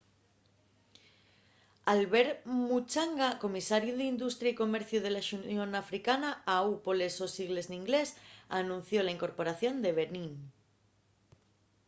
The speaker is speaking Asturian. albert muchanga comisariu d’industria y comerciu de la xunión africana au poles sos sigles n’inglés anunció la incorporación de benín